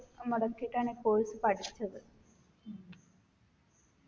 മുടക്കിയിട്ടാണ് ഈ course പഠിച്ചത്